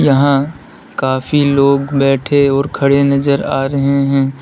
यहां काफी लोग बैठे और खड़े नजर आ रहे हैं।